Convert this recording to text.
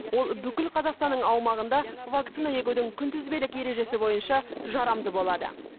ол бүкіл қазақстанның аумағында вакцина егудің күнтізбелік ережесі бойынша жарамды болады